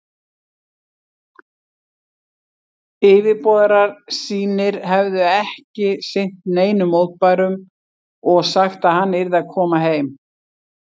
Yfirboðarar sínir hefðu ekki sinnt neinum mótbárum og sagt, að hann yrði að koma heim.